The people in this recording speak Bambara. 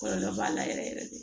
Kɔlɔlɔ b'a la yɛrɛ yɛrɛ de